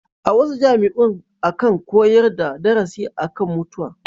A wasu jami'un akan koyar da darasi a kan mutuwa.